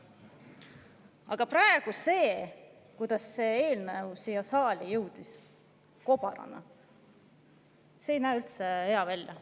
Aga praegu see, kuidas see eelnõu siia saali jõudis, kobarana, ei näe üldse hea välja.